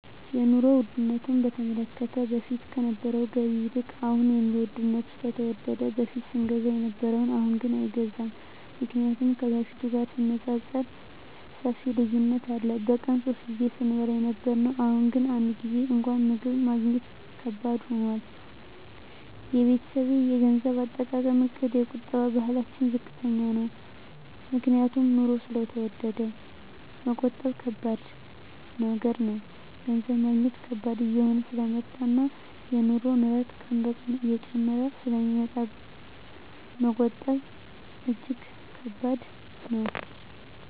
የኑሮ ዉድነቱ በተመለከተ በፊት ከነበረዉ ገቢ ይልቅ አሁን የኑሮዉ ስለተወደደ በፊት ስንገዛ ከነበረ አሁንግን አይገዛም ምክንያቱም ከበፊቱ ጋር ሲነፃፀር ሰፊ ልዩነት አለ በቀን ሶስት ጊዜ ስንበላ የነበረዉ አሁን ግን አንድ ጊዜም እንኳን ምግብ ማግኘት ከባድ ሆኗል የቤተሰቤ የገንዘብ አጠቃቀምእቅድ የቁጠባ ባህላችን ዝቅተኛ ነዉ ምክንያቱም ኑሮዉ ስለተወደደ መቆጠብ ከባድ ነገር ነዉ ገንዘብ ማግኘት ከባድ እየሆነ ስለመጣእና የኑሮዉ ንረት ቀን ቀን እየጨመረ ስለሚመጣ መቆጠብ እጂግ ከባድ ነዉ